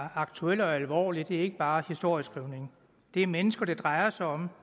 er aktuel og alvorlig det er ikke bare historieskrivning det er mennesker det drejer sig om